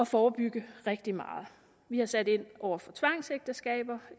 forebygge rigtig meget vi har sat ind over for tvangsægteskaber